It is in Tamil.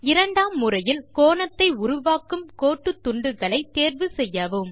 இரண்டாம் முறையில் கோணத்தை உருவாக்கும் கோட்டுத்துண்டுகளை தேர்வு செய்யவும்